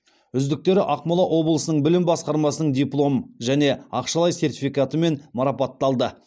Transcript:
үздіктері ақмола облысының білім басқармасының диплом және ақшалай сертификатымен марапатталды